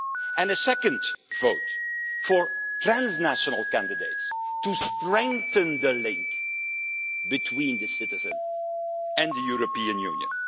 and a second vote is for transnational candidates, to strengthen the link between the citizen and the European Union.